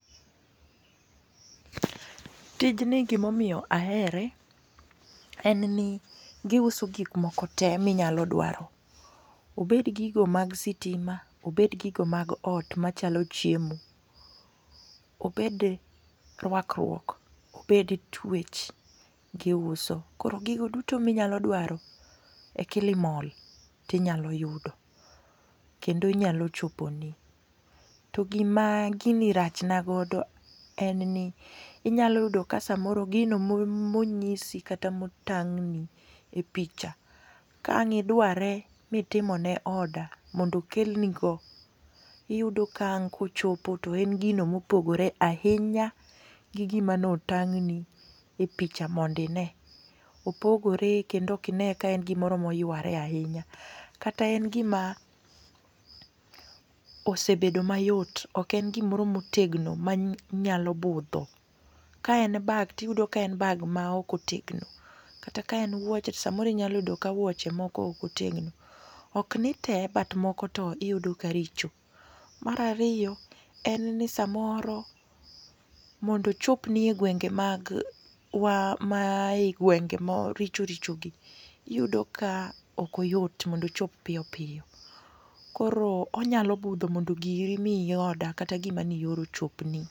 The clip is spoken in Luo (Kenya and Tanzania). Tijni gima miyo ahere en ni giuso gik mokote ma inyalo dwaro. Obed gigo mag sitima, obed gigo mag ot machalo chiemo, obed rwakruok, obed twech giuso. Koro gigo duto ma inyalo mdwaro e Kilimal tinyalo yudo kendo nyao choponi. To gima gini rach na godo inyalo yudo samoro ka gino ma onyisi kata ma otang' ni e picha, ka ang' idware mitimo order iyudo ka ochopo to en gino ,mopogore ahinya gi gima ne otng' ni e picha mondo ine. Opogore kendo ok ine ka en gima oromo yuare ahinya kata en gima ose bedo ayot ok en gimoro otegno manyalo bugho. Ka en bag to iyudo ka en bag maok otegno, kata kaen wuoche to samoro inyalo yudo ka wuoche moko ok otegno. Ok ni ntee but moko to iyudo ka richo. Mar ariyo en ni samoro mondo ochopni e gwenge mag mai gwenge ma richo richo iyudo ka ok oyot mondo ochop piyo piyo koro onyalo budho mondo giri ma i norder kata gima neioro ochopni.